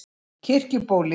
Kirkjubóli